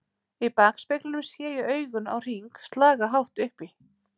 Í bakspeglinum sé ég augun á Hring slaga hátt upp í